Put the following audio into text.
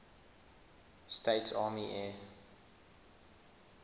states army air